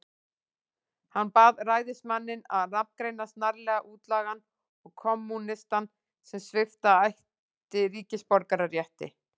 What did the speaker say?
Hann bað ræðismanninn að nafngreina snarlega útlagann og kommúnistann, sem svipta ætti ríkisborgararétti.